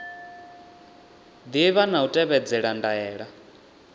ḓivha na u tevhedzela ndaela